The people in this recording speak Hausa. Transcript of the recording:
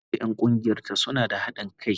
Lami da 'yan kungiyarta suna da hadin kai.